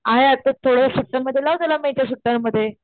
आहे आतच थोडे दिवस सुट्ट्यांमध्ये लाव त्याला मे च्या सुट्ट्यांमध्ये,